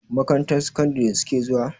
Makarantar sakandari su ke zuwa?